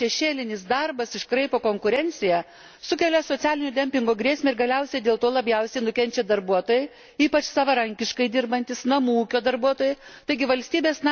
Nedeklaruojamas šešėlinis darbas iškraipo konkurenciją, sukelia socialinio dempingo grėsmę, ir galiausiai dėl to labiausiai nukenčia darbuotojai, ypač savarankiškai dirbantys, namų ūkio darbuotojai.